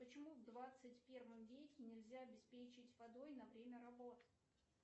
почему в двадцать первом веке нельзя обеспечить водой на время работ